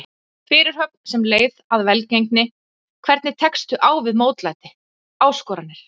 Fyrirhöfn sem leið að velgengni Hvernig tekstu á við mótlæti, áskoranir?